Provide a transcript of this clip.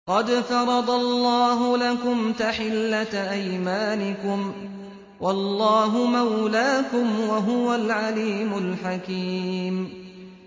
قَدْ فَرَضَ اللَّهُ لَكُمْ تَحِلَّةَ أَيْمَانِكُمْ ۚ وَاللَّهُ مَوْلَاكُمْ ۖ وَهُوَ الْعَلِيمُ الْحَكِيمُ